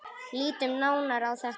Lítum nánar á þetta.